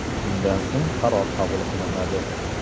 Shundan so‘ng qaror qabul qilinadi.